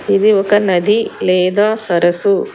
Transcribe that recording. ఇది ఒక నది లేదా సరస్సు.